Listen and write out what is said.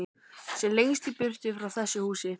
Sem lengst í burtu frá þessu húsi.